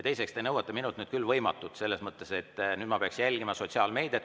Teiseks, te nõuate minult küll võimatut, et ma peaksin nüüd jälgima sotsiaalmeediat.